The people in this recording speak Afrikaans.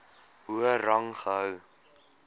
hoër rang gehou